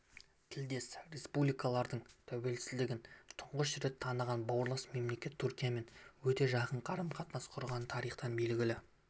тілдес республикалардың тәуелсіздігін тұңғыш рет таныған бауырлас мемлекет түркиямен өте жақын қарым-қатынас құрғаны тарихтан белгілі